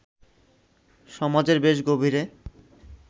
সমাজের বেশ গভীরে